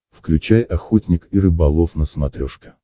включай охотник и рыболов на смотрешке